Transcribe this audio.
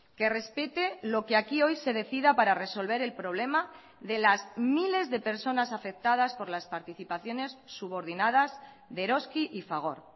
que respete lo que aquí hoy se decida para resolver el problema de las miles de personas afectadas por las participaciones subordinadas de eroski y fagor